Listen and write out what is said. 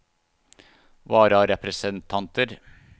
vararepresentanter